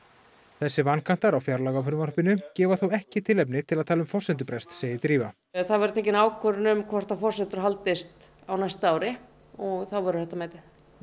þessir vankantar á fjárlagafrumvarpinu gefa þó ekki tilefni til að tala um forsendubrest segir Drífa það verður tekin ákvörðun um hvort forsendur haldist á næsta ári og þá verður þetta metið